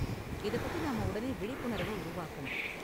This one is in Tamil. இத பத்தி நாம உடனே விழிப்புணர்வ உருவாக்கணும்.